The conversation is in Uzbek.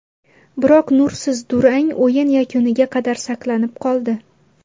Biroq nursiz durang o‘yin yakuniga qadar saqlanib qoldi.